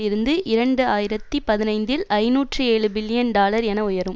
இருந்து இரண்டு ஆயிரத்தி பதினைந்தில் ஐநூற்று ஏழு பில்லியன் டாலர் என உயரும்